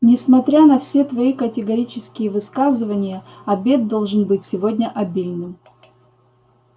несмотря на все твои категорические высказывания обед должен быть сегодня обильным